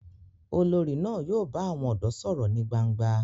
Olórí náà yóò bá àwọn ọ̀dọ́ sọ̀rọ̀ ní gbangba